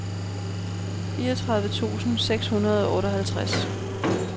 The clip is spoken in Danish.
fireogtyve tusind seks hundrede og otteoghalvtreds